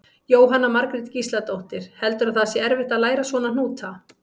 Jóhanna Margrét Gísladóttir: Heldurðu að það sé erfitt að læra svona hnúta?